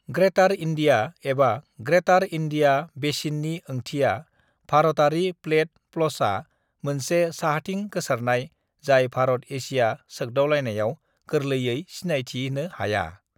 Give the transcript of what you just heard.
Greater India एबा greater India बेसिननि ओंथिया भारतआरि प्लेट प्लसआ मोनसे साहाथिं गोसारनाय जाय भारत-एसिया सोगदावनायाव गोरलैयै सिनायथिनो हाया।